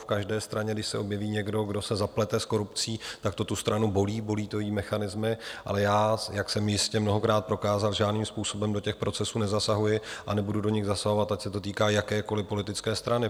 V každé straně, když se objeví někdo, kdo se zaplete s korupcí, tak to tu stranu bolí, bolí to její mechanismy, ale já, jak jsem jistě mnohokrát prokázal, žádným způsobem do těch procesů nezasahuji a nebudu do nich zasahovat, ať se to týká jakékoliv politické strany.